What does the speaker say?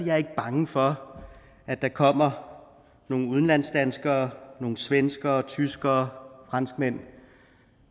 jeg ikke er bange for at der kommer nogle udenlandsdanskere nogle svenskere tyskere franskmænd